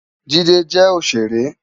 Jide jè óṣéré